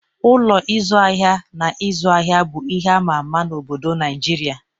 Ụlọ ịzụ ahịa na ịzụ ahịa bụ ihe ama ama n'obodo Naịjirịa